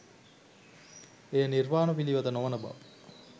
එය නිර්වාණ පිළිවෙත නොවන බව